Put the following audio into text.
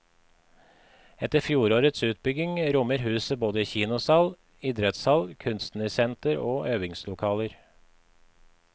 Etter fjorårets utbygging rommer huset både kinosal, idrettshall, kunstnersenter og øvingslokaler.